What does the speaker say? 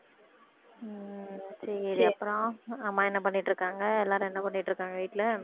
உம் சரி அப்புறம் அம்மா என்ன பண்ணிட்டு இருக்காங்க எல்லாரும் என்ன பண்ணிட்டு இருக்காங்க வீட்டுல